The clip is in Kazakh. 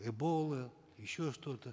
эбола еще что то